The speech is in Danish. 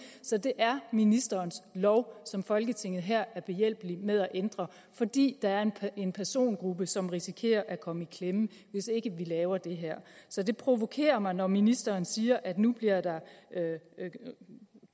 så det er ministerens lov som folketinget her er behjælpelig med at ændre fordi der er en persongruppe som risikerer at komme i klemme hvis ikke vi laver det her så det provokerer mig når ministeren siger at nu bliver det